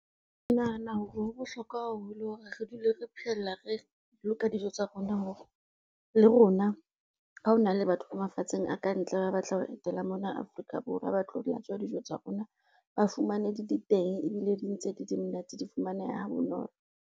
Ke nahana hore ho bohlokwa haholo hore re dule re phehela re boloka dijo tsa rona hore, le rona ha ho na le batho ba mafatsheng a kantle ba batla ho etela mona Afrika Borwa ba tlo latswa dijo tsa rona ba fumane di le teng ebile di ntse di le monate di fumaneha ha bonolo.